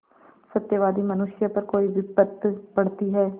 सत्यवादी मनुष्य पर कोई विपत्त पड़ती हैं